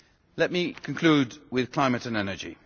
Let me conclude with climate and energy.